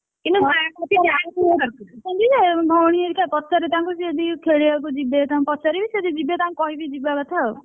ହଁ ଅଛନ୍ତି ଯେ ଭଉଣୀ ଘରିକା ପଚାରେ ତାଙ୍କୁ ସେ ଯଦି ଖେଳିବାକୁ ଯିବେ ତାଙ୍କୁ ପଚାରିବି ସେ ଯଦି ଯିବେ ତାଙ୍କୁ କହିବି ଯିବା କଥା ଆଉ,